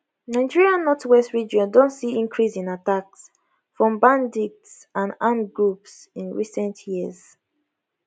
nigeria northwest region don see increase in attacks from bandits and armed groups in recent years